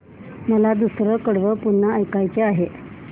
मला दुसरं कडवं पुन्हा ऐकायचं आहे